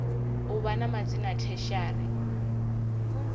u vha na madzina tertiary